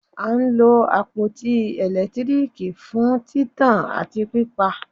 A ń lo àpótí ẹ̀lẹ́tíríìkì fún títàn àti pípa.